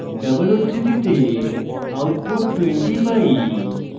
double উদ্ধৃতিতে output 20 পাই